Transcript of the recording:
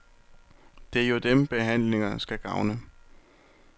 Det er jo dem, behandlingerne skal gavne.